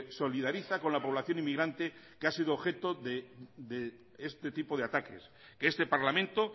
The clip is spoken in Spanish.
solidariza con la población inmigrante que ha sido objeto de este tipo de ataques que este parlamento